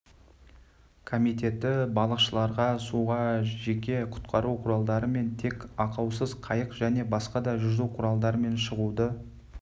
комитеті балықшыларға суға жеке құтқару құралдарымен тек ақаусыз қайық және басқа да жүзу құралдарымен шығуды